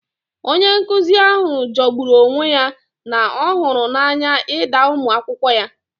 Onye nkuzi ahụ jọgburu onwe ya na ọ hụrụ n'anya ịda ụmụ akwụkwọ ya